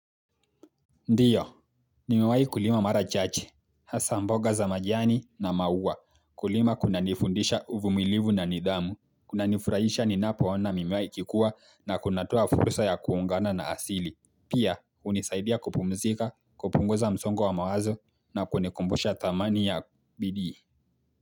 Ndiyo, nimewahi kulima marachache. Hasa mboga za majani na maua, kulima kunanifundisha uvumilivu na nidhamu, kunanifurahisha ninapo ona mimea ikikua na kunatoa fursa ya kuungana na asili, pia hunisaidia kupumzika, kupunguza msongo wa mawazo na kunikumbusha thamani ya bidii.